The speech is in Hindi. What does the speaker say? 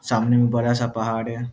सामने में बड़ा सा पहाड़ है।